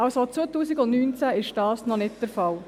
2019 ist dies noch nicht der Fall.